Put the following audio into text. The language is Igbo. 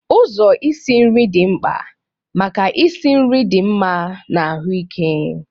Ụzọ isi nri dị mkpa maka ịsi nri dị mma na ahụike.